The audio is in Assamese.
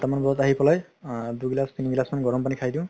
চয়তা মান বজাত আহি পেলাই দুই গিলাচ তিনি গিলাচ মান গৰম পানি খাই দিও